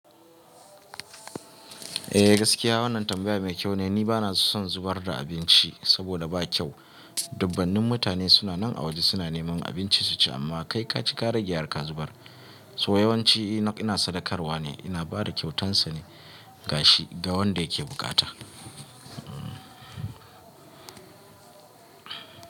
Eh gaskiya wannan tambaya mai kyau ne. Ni bana son zubar da abinci saboda ba kyau. Dubbanin mutane suna nan a waje suna neman abinci su ci amma kai ka ci ka rage har ka zubar. So yawanci ina sadakarwa ne, ina bada kyautansa ne ga shi ga wanda yake bukata.